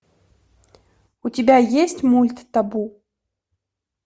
у тебя есть мульт табу